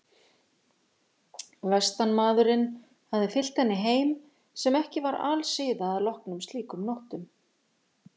Vestanmaðurinn hafði fylgt henni heim sem ekki var alsiða að loknum slíkum nóttum.